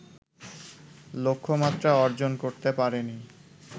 লক্ষ্যমাত্রা অর্জন করতে পারেনি